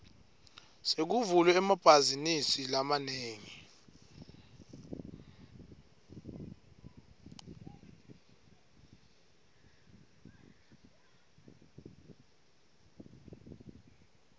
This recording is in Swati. sekuvulwe emabhazinisi lamanengi